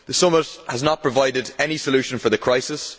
The summit has not provided any solution for the crisis.